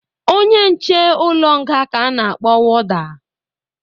Onye nche ụlọ nga ka a na-akpọ woda